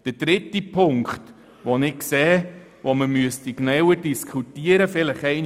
Der folgende, dritte Punkt sollte vielleicht auch einmal in der BaK konkret diskutiert werden: